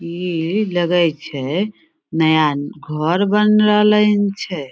इ लगे छै नया घर बन रहले हैन छै।